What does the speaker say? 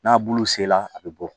N'a bulu sela a bɛ bɔ